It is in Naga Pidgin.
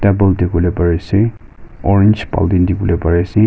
Bowl dekhe bole pare ase orange baltin de bole pare ase.